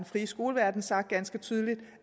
frie skoleverden sagt ganske tydeligt